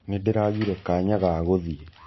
Nĩndĩragĩre kanya ga gũthĩĩ.